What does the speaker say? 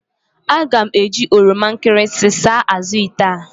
Aga m eji oroma nkịrịsị saa azụ̀ ite a.